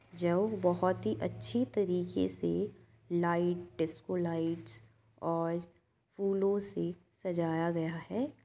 जो बहुत ही अच्छी तरीके से लाइट्स डिस्को लाइट्स और फूलों से सजाया गया है।